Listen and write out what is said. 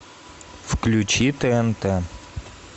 включи тнт